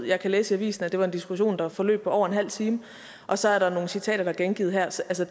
jeg kan læse i avisen at det var en diskussion der forløb over en halv time og så er der nogle citater der er gengivet her altså